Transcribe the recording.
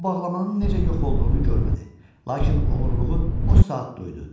O, bağlamanın necə yox olduğunu görmədi, lakin oğurluğu o saat duydu.